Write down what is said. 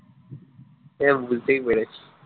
সে বুঝতেই পেরেছি